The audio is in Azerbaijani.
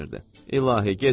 İlahi, gecikdik!